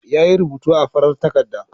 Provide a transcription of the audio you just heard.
Yayi rubutu a farar takarda.